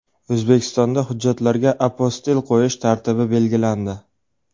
O‘zbekistonda hujjatlarga apostil qo‘yish tartibi belgilandi.